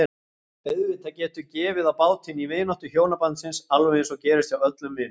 Auðvitað getur gefið á bátinn í vináttu hjónabandsins alveg eins og gerist hjá öllum vinum.